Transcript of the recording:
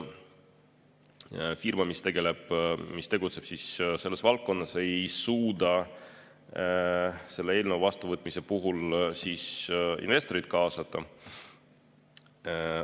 Firma, mis tegutseb selles valdkonnas, ei suuda selle eelnõu vastuvõtmise puhul vajadusel investoreid kaasata.